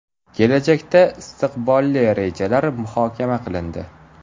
Kelajakda istiqbolli rejalar muhokama qilindi.